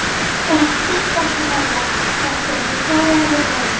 Sittu ekki þarna þegjandi, svaraðu mér, manneskja.